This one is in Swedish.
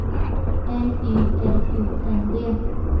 N Y L U N D